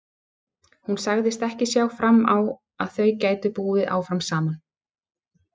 Hún sagðist ekki sjá fram á að þau gætu búið áfram saman.